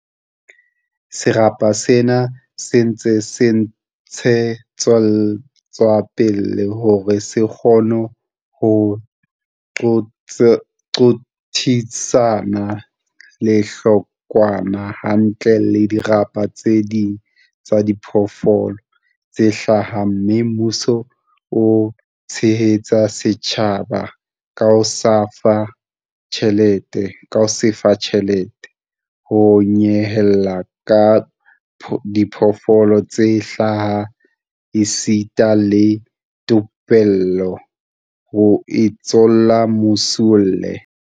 Serapa sena se ntse se ntshe tswa pele hore se kgone ho qothisana lehlokwa hantle le dirapa tse ding tsa diphoofolo tse hlaha mme mmuso o tshehetsa setjhaba ka ho se fa tjhelete, ho nyehela ka diphoofolo tse hlaha esita le thupello, ho itsalo Masualle.